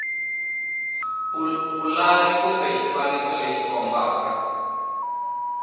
pulani kumbe xifaniso lexi kombaka